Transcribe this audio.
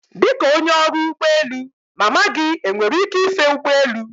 Dịka onye ọrụ ụgbọ elu, mama gị enwere ike ife ụgbọelu?